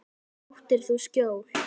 Þar áttir þú skjól.